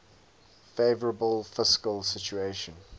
favourable fiscal situation